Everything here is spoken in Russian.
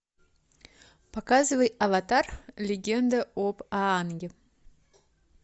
показывай аватар легенда об аанге